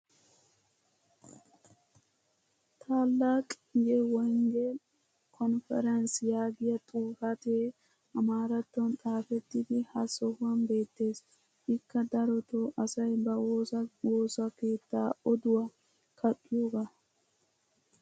"taalaqi ye wongel konference " yaagiya xifatte amaarattuwan xaafettidi ha sohuwan beettees. ikka darotoo asay ba woosa woosa keettaa odduwa kaqqiyoogaa.